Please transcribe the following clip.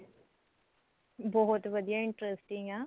ਬਹੁਤ ਵਧੀਆ interesting ਆ